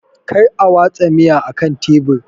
Kar a watsa miya akan tebur!